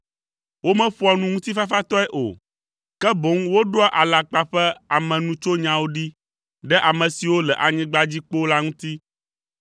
Womeƒoa nu ŋutifafatɔe o, ke boŋ woɖoa alakpa ƒe amenutsonyawo ɖi ɖe ame siwo le anyigba dzi kpoo la ŋuti.